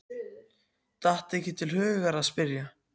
Datt ekki til hugar að spyrja.